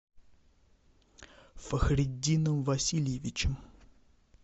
фахриддином васильевичем